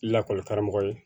Lakɔlikaramɔgɔ ye